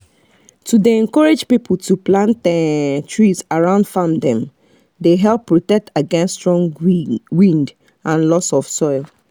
to dey encourage people to plant um trees around farm dem dey help protect against strong wind and loss of soil